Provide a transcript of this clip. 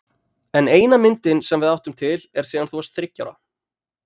En eina myndin sem við áttum til er síðan þú varst þriggja ára.